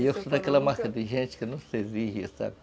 E eu sou daquela marca de gente que não se exige, sabe?